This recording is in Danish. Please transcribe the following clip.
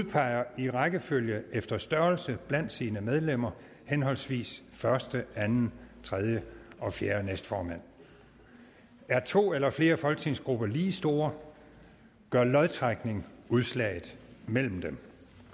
udpeger i rækkefølge efter størrelse blandt sine medlemmer henholdsvis første anden tredje og fjerde næstformand er to eller flere folketingsgrupper lige store gør lodtrækning udslaget mellem dem